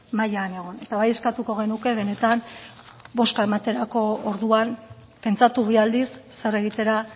mailan egon eta bai eskatuko genuke benetan bozka ematerako orduan pentsatu bi aldiz zer egitera